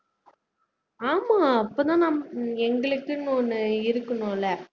ஆமா அப்பதான் நாம எங்களுக்குனு ஒண்ணு இருக்கணும்ல